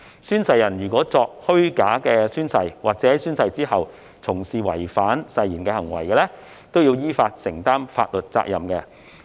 宣誓人作虛假宣誓或者在宣誓之後從事違反誓言行為的，依法承擔法律責任"。